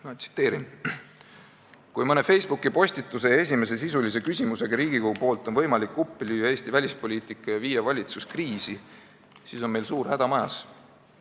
Ma tsiteerin: "Kui mõne Facebooki postituse ja esimese sisulise küsimusega Riigikogu poolt on võimalik lüüa uppi Eesti välispoliitika ja viia valitsus kriisi, siis on meil suur häda majas.